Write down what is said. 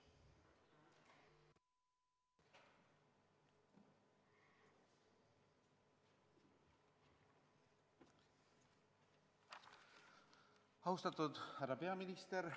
Austatud härra peaminister!